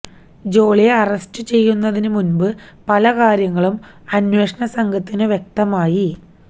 ജോളിയെ അറസ്റ്റ് ചെയ്യുന്നതിനു മുന്പ് പല കാര്യങ്ങളും അന്വേഷണ സംഘത്തിനു വ്യക്തമായി